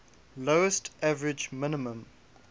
lowest average minimum